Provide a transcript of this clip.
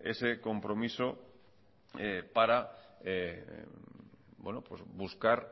ese compromiso para buscar